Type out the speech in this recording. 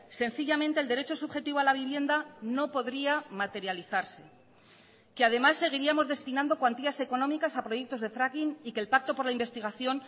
sencillamente el derecho subjetivo a la vivienda no podría materializarse que además seguiríamos destinando cuantías económicas a proyectos de fracking y que el pacto por la investigación